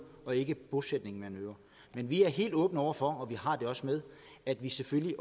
og ikke en bosætning man øger men vi er helt åbne over for vi har det også med at vi selvfølgelig